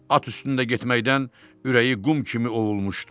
At üstündə getməkdən ürəyi qum kimi ovulmuşdu.